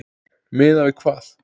Miðað við hvað?